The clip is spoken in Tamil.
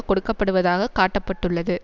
கொடுக்கப்படுவதாக காட்ட பட்டுள்ளது